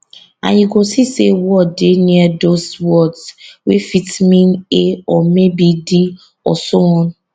and you go see say word dey near dose words wey fit mean a or maybe di and so on